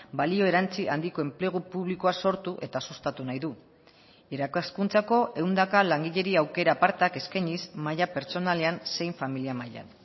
balio erantsi handiko enplegu publikoa sortu eta sustatu nahi du irakaskuntzako ehundaka langileri aukera apartak eskainiz maila pertsonalean zein familia mailan